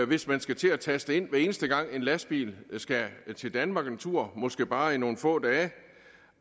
hvis man skal til at taste ind hver eneste gang en lastbil skal til danmark en tur måske bare i nogle få dage